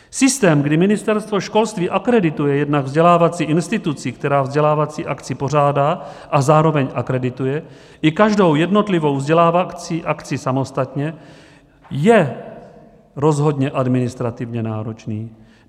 Systém, kdy Ministerstvo školství akredituje jednak vzdělávací instituci, která vzdělávací akce pořádá, a zároveň akredituje i každou jednotlivou vzdělávací akci samostatně, je rozhodně administrativně náročný.